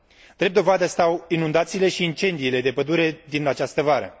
Drept dovadă stau inundațiile și incendiile de pădure din această vară.